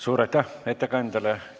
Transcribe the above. Suur aitäh ettekandjale!